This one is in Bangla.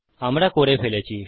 আমরা করে ফেলেছি